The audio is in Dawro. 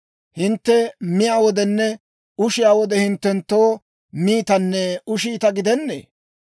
Hintte miyaa wodenne ushiyaa wode, hinttenttoo miitanne ushiita gidennee.